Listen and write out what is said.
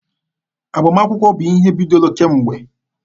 Agbamakwụkwọ bụ ihe bidoro kemgbe.